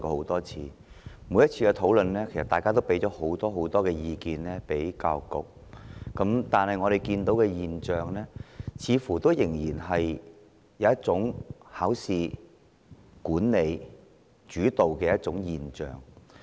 在每次的討論中，大家都向教育局提出很多意見，但我們似乎依然看見考試主導的現象。